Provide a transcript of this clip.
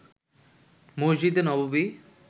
মসজিদে নববী